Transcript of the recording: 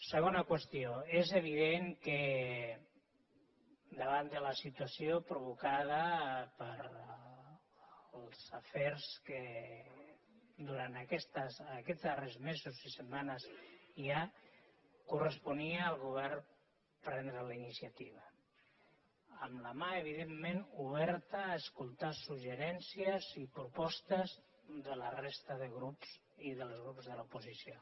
segona qüestió és evident que davant de la situació provocada pels afers que durant aquests darrers mesos i setmanes hi ha corresponia al govern prendre la iniciativa amb la mà evidentment oberta a escoltar suggeriments i propostes de la resta de grups i dels grups de l’oposició